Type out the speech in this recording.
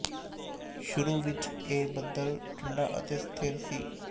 ਸ਼ੁਰੂ ਵਿੱਚ ਇਹ ਬੱਦਲ ਠੰਡਾ ਅਤੇ ਸਥਿਰ ਸੀ